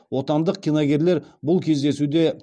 отандық киногерлер бұл кездесуде